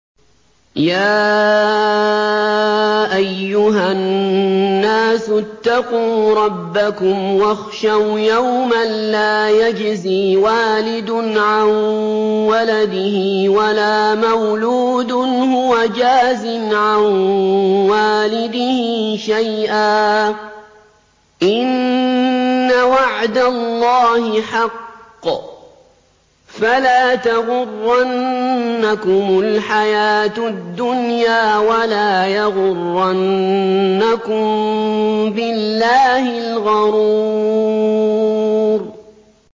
يَا أَيُّهَا النَّاسُ اتَّقُوا رَبَّكُمْ وَاخْشَوْا يَوْمًا لَّا يَجْزِي وَالِدٌ عَن وَلَدِهِ وَلَا مَوْلُودٌ هُوَ جَازٍ عَن وَالِدِهِ شَيْئًا ۚ إِنَّ وَعْدَ اللَّهِ حَقٌّ ۖ فَلَا تَغُرَّنَّكُمُ الْحَيَاةُ الدُّنْيَا وَلَا يَغُرَّنَّكُم بِاللَّهِ الْغَرُورُ